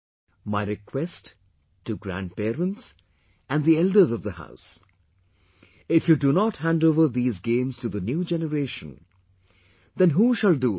My request to the grandparents and the elders of the house, if you do not handover these gamesto the new generation, then who shall do it